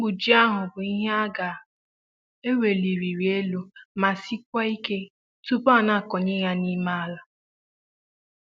mkpu ji ahụ bụ Ihe a ga ē welirịrị élú ma si kwa ike tupu a na kọ nye ya n'ime ala